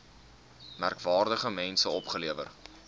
merkwaardige mense opgelewer